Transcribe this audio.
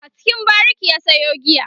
a cikin bariki ya Sayo giya